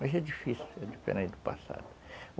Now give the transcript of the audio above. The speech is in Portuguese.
Mas é difícil, é diferente do passado.